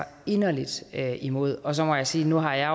inderlig imod og så må jeg sige at nu har jeg